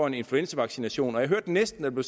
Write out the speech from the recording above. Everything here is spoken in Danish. en influenzavaccination og jeg hørte næsten at der